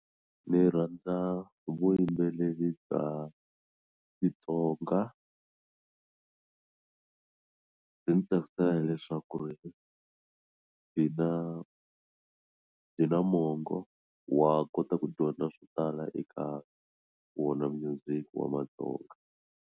Ni rhandza vuyimbeleri bya Xitsonga byi ni tsakisela hileswaku ri byi na byi na mongo wa kota ku dyondza swo tala eka wona munyuziki wa maTsonga.